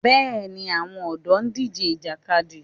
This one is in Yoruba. Bẹ́ẹ̀ ni, àwọn ọ̀dọ́ ń díje Ìjàkadì